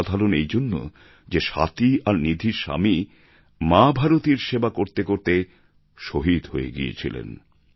অসাধারণ এইজন্য যে স্বাতি আর নিধির স্বামী মা ভারতীর সেবা করতে করতে শহীদ হয়ে গিয়েছিলেন